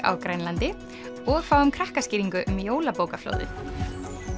á Grænlandi og fáum krakkaskýringu um jólabókaflóðið